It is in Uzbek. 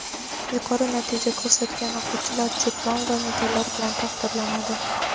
Yuqori natija ko‘rsatgan o‘quvchilar diplom va medallar bilan taqdirlanadi.